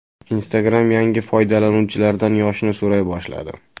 Instagram yangi foydalanuvchilardan yoshini so‘ray boshladi.